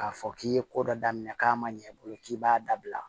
K'a fɔ k'i ye ko dɔ daminɛ k'a ma ɲɛ i bolo k'i b'a dabila